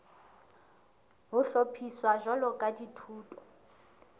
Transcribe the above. ho hlophiswa jwalo ka dithuto